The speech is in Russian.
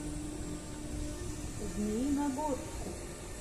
змеиногорску